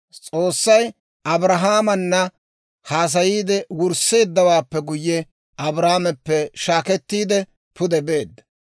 S'oossay Abrahaamaana haasayiide wursseeddawaappe guyye, Abrahaameppe shaakettiide pude beedda.